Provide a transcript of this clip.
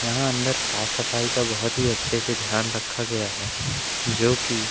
यहां अंदर साफ सफाई का बहोत ही अच्छे से ध्यान रखा गया है जोकि--